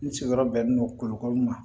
N sigiyɔrɔ bɛnnen don kolokoro ma